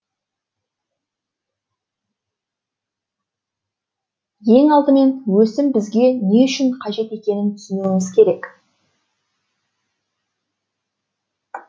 ең алдымен өсім бізге не үшін қажет екенін түсінуіміз керек